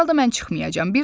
Hər halda mən çıxmayacam.